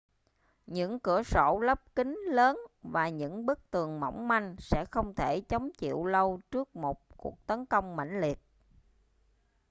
những cửa sổ lắp kính lớn và những bức tường mỏng manh sẽ không thể chống chịu lâu trước một cuộc tấn công mãnh liệt